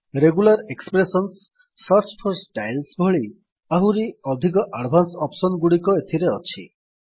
regular expressions search for styles ଭଳି ଆହୁରି ଅଧିକ ଆଡଭାନ୍ସ ଅପ୍ସନ୍ ଗୁଡିକ ଏଥିରେ ଅଛି